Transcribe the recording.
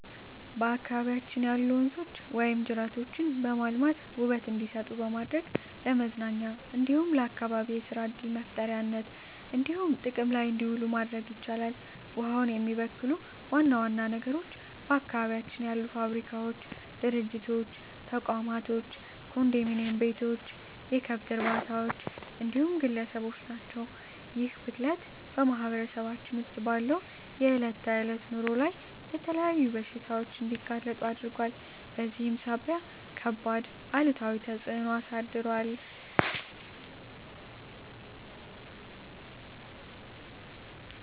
በአካባቢያችን ያሉ ወንዞች ወይም ጅረቶችን በማልማት ውበት እንዲሰጡ በማድረግ ለመዝናኛ እንዲሁም ለአካባቢ የሰራ ዕድል መፍጠሪያነት እንዲሆኑ ጥቅም ላይ እንዲውሉ ማድረግ ይቻላል። ውሃውን የሚበክሉ ዋና ዋና ነገሮች በአካባቢያችን ያሉ ፋብሪካዎች፣ ድርጅቶች፣ ተቋማቶች፣ ኮንዶሚኒዬም ቤቶች፣ የከብት እርባታዎች እንዲሁም ግለሰቦች ናቸው። ይህ ብክለት በማህበረሰባችን ውስጥ ባለው የዕለት ተዕለት ኑሮ ላይ ለተለያዩ በሽታዎች እንዲጋለጡ አድርጓል በዚህም ሳቢያ ከባድ አሉታዊ ተፅዕኖ አሳድሯል።